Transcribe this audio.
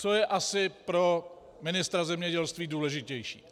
Co je asi pro ministra zemědělství důležitější?